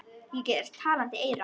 Ég er talandi eyra.